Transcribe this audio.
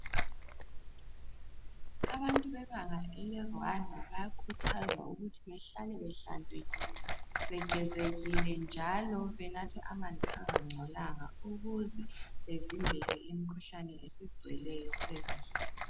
Abantu bebanga ele Rwanda bayakhuthazwa ukuthi behlale behlanzekile begezekile njalo benatha amanzi angangcolanga ukuze bevimbele imkhuhlane esigcweleyo kulezinsuku.